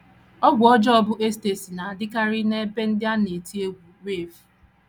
Ọgwụ ọjọọ bụ́ ecstasy na - adịkarị n’ebe ndị a na - eti egwú rave